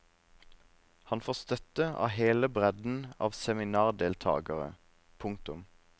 Han får støtte av hele bredden av seminardeltagere. punktum